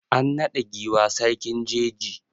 An naɗa giwa sarkin jeji.